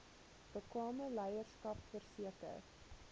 bekwame leierskap verseker